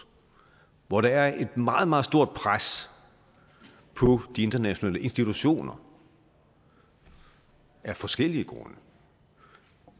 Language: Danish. hvor der er et meget meget stort pres på de internationale institutioner af forskellige grunde